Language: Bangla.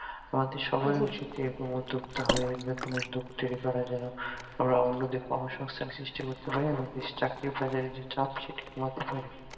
তাদের সবাই এরকম উদ্যোক্তা হয়ে নতুন উদ্যোগ তৈরী করা যেন ওরা অন্য দের কর্ম সংস্তান সৃষ্টি করতে পারে এবং চাকরির বাজারে যে চাপ সেটাকেও কমাতে পারে